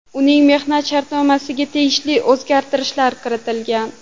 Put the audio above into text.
Uning mehnat shartnomasiga tegishli o‘zgartirishlar kiritilgan.